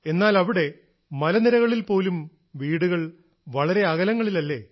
എന്നാൽ അവിടെ മലനിരകളിൽ പോലും വീടുകൾ വളരെ അകലങ്ങളിലല്ലേ